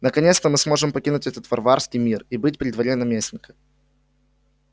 наконец-то мы сможем покинуть этот варварский мир и быть при дворе наместника